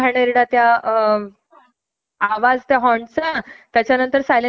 म्हणजे किती हद्द पार करतात ना लोक हे ह्याच्या वरून समजून येते